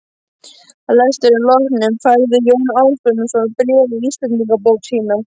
Að lestrinum loknum færði Jón Ásbjarnarson bréfið í Íslendingabók sína.